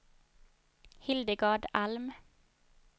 Hildegard Alm